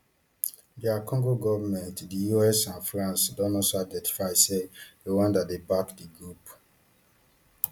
dr congo goment di us and france don also identify say rwanda dey back di group